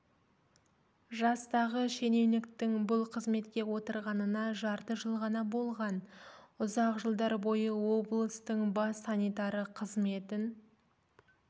жастағы шенеуніктің бұл қызметке отырғанына жарты жыл ғана болған ұзақ жылдар бойы облыстың бас санитары қызметін